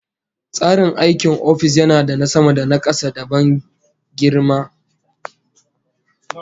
Tsarin aikin ofis yana da na sama da na kasa, da ban girma